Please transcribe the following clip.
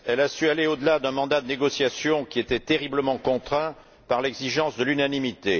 Elle a su aller au delà d'un mandat de négociation qui était terriblement contraint par l'exigence de l'unanimité.